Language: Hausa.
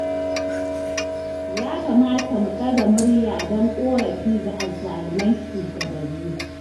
Ya kamata mu ɗaga murya don ƙorafi ga azzaluman shugabanni